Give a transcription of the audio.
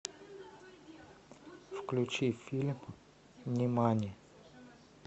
включи фильм нимани